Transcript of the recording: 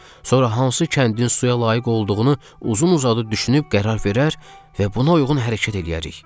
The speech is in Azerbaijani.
Sonra hansı kəndin suya layiq olduğunu uzun-uzadı düşünüb qərar verər və buna uyğun hərəkət eləyərik.